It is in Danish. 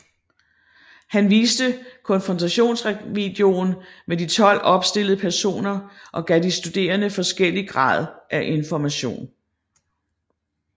Han viste konfrontationsvideoen med de 12 opstillede personer og gav de studerende forskellig grad af information